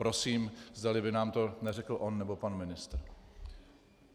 Prosím, zdali by nám to neřekl on nebo pan ministr.